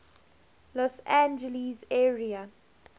los angeles area